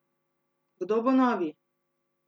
Kdo bo novi ?